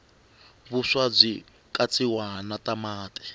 vuswa bwikatsiwa natamati